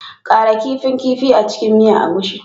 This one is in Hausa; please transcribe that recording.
Ƙara kifin kifi a cikin miya egusi